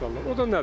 O da nədir?